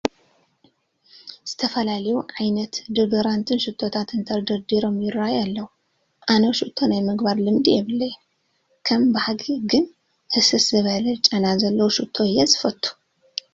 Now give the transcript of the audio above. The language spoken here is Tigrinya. ዝተፈላለዩ ዓይነት ዶደራንትን ሽቶታትን ተደርዲሮም ይርአዩ ኣለዉ፡፡ ኣነ ሽቶ ናይ ምግባር ልምዲ የብለይን፡፡ ከም ባህጊ ግን ሕስስ ዝበለ ጨና ዘለዎ ሽቶ እየ ዝፈቱ፡፡